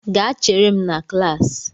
Gaa chere m na klaasị!